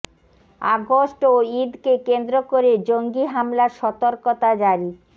August ও ঈদকে কেন্দ্র করে জঙ্গি হামলার সতর্কতা জারি